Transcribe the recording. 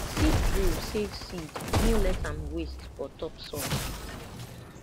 seed drill save seed no let am waste for top soil